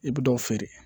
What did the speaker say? I bɛ dɔ feere